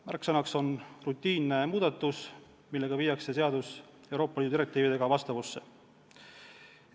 Märksõnaks on rutiinne muudatus, millega viiakse seadus Euroopa Liidu direktiividega vastavusse.